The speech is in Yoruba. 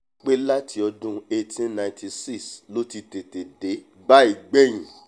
pé láti ọdún eighteen ninety six ló ti tètè dé báyìí gbẹ̀hìn